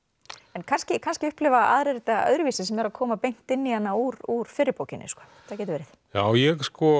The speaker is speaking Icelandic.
en kannski kannski upplifa aðrir þetta öðruvísi sem eru að koma beint inn í hana úr úr fyrri bókinni það gæti verið ég